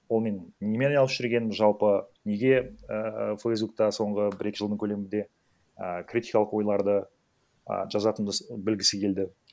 ол мен немен айналысып жүргенімді жалпы неге ііі фейсбукта соңғы бір екі жылдың көлемінде ііі критикалық ойларды а жазатынымды білгісі келді